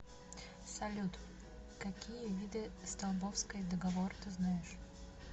салют какие виды столбовской договор ты знаешь